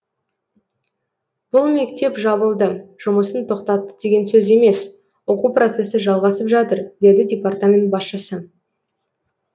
бұл мектеп жабылды жұмысын тоқтатты деген сөз емес оқу процесі жалғасып жатыр деді департамент басшысы